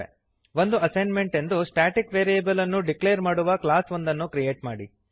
ಒಂದು ಅಸೈನ್ಮೆಂಟ್ ಎಂದು static variable ಅನ್ನು ಡಿಕ್ಲೇರ್ ಮಾಡುವ ಕ್ಲಾಸ್ ಒಂದನ್ನು ಕ್ರಿಯೇಟ್ ಮಾಡಿರಿ